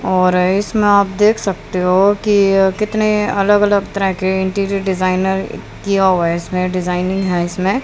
और इसमें आप देख सकते हो कि कितने अलग अलग तरह के इंटीरियर डिजाइनर किया हुआ है इसमें डिजाइनिंग है इसमें।